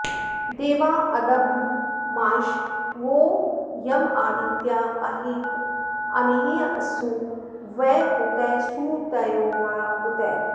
देवा॒ अद॑भ्रमाश वो॒ यमा॑दित्या॒ अहे॑तनाने॒हसो॑ व ऊ॒तयः॑ सुऊ॒तयो॑ व ऊ॒तयः॑